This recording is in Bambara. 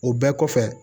O bɛɛ kɔfɛ